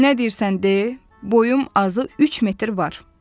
Nə deyirsən de, boyum azı üç metr var.